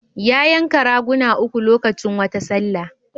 Ya yanka raguna uku lokacin wata sallah.